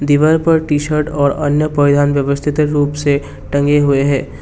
दीवार पर T shirt और अन्य परिधान व्यवस्थित रूप से टंगे हुए हैं।